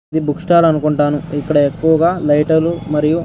ఇది book stall అనుకుంటాను ఇక్కడ ఎక్కువగా లైటర్లు మరియు --